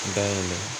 Dayirimɛ